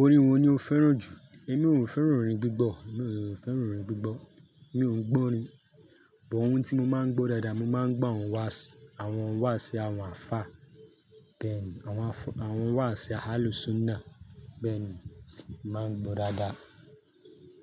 Orin wo ni o fẹ́ràn jù? Èmi ò fẹ́ràn orin gbígbọ, mi ò fẹ́ràn orin gbígbọ, mi òun gbọ́ orin. Bọ òun tí mo máa ń gbọ́ dáadáa, mo máa ń gbọ́ àwọn wáàsì, àwọn wáàsì àwọn ààfáà bẹ́ẹ̀ni, àwọn wáàsì Ahlussunnah bẹ́ẹ̀ni, máa ń gbọ́ dáadáa,